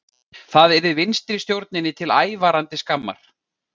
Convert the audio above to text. Það yrði vinstristjórninni til ævarandi skammar